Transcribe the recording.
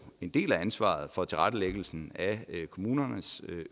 en del af ansvaret for tilrettelæggelsen af kommunernes